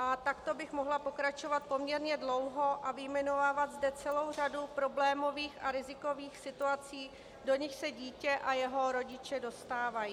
A takto bych mohla pokračovat poměrně dlouho a vyjmenovávat zde celou řadu problémových a rizikových situací, do nichž se dítě a jeho rodiče dostávají.